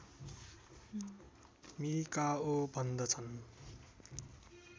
Mikao भन्दछन्